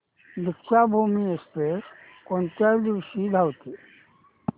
Deekshabhoomi Express कोणत्या दिवशी धावते